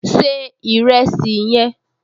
Se ìrẹsì yẹn!